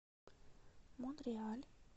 монреаль